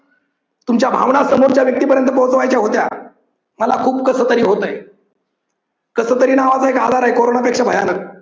तुमच्या भावना समोरच्या व्यक्तीपर्यंत पोहोचवायच्या होत्या. मला खूप कसतरी होतंय. कसतरी नावाचा एक आजार हाय. कोरोनापेक्षा भयानक.